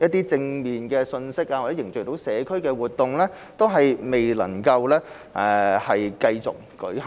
來正面信息或凝聚社區的活動未能繼續舉行。